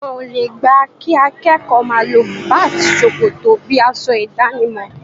Wọn o le gbà kí akẹ́kọ̀ọ́ máa lo bùbá àti ṣòkòtò bíi aṣọ ìdánimọ̀.